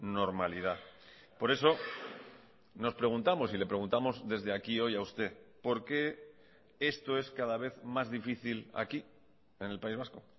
normalidad por eso nos preguntamos y le preguntamos desde aquí hoy a usted por qué esto es cada vez más difícil aquí en el país vasco